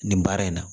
Nin baara in na